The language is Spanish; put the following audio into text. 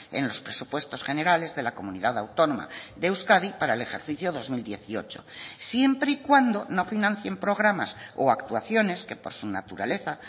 en los presupuestos generales de la comunidad autónoma de euskadi para el ejercicio dos mil dieciocho siempre y cuando no financien programas o actuaciones que por su naturaleza